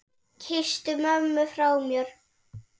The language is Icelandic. Kysstu mömmu frá mér.